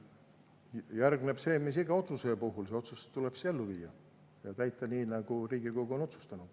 Järgneb see, mis iga otsuse puhul: see otsus tuleb siis ellu viia ja täita, nii nagu Riigikogu on otsustanud.